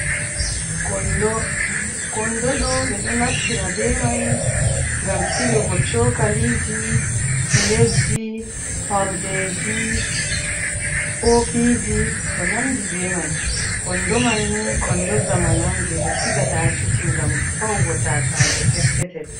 Kondo, kondo ɗo ɓe ɗo naftira be mai gam silugo cokaliji pileji, horde ji, kofiji, ko nandi be mai, kondoman ni kondo zamanu on je ɓe sigata ha kicin ngam faugo tasaje peppetal.